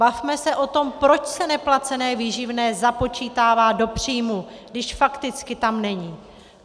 Bavme se o tom, proč se neplacené výživné započítává do příjmů, když fakticky tam není.